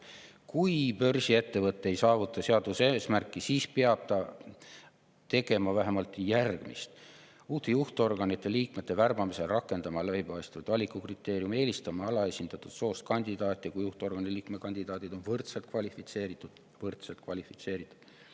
Kui börsiettevõte ei saavuta seatud eesmärki, siis peab ta tegema vähemalt järgmist: uute juhtorganite liikmete värbamisel rakendama läbipaistvaid valikukriteeriume; kui juhtorgani liikme kandidaadid on võrdselt kvalifitseeritud – võrdselt kvalifitseeritud!